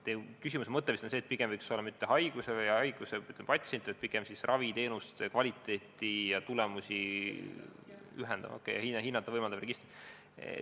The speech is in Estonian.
Teie küsimuse mõte oli vist see, et pigem võiksid olla mitte haigusi või patsiente, vaid pigem raviteenuste kvaliteeti ja tulemusi hinnata võimaldavad registrid.